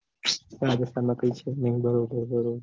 માં કાંઈ છે નાઈ